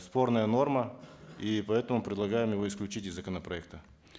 спорная норма и поэтому предлагаем его исключить из законопроекта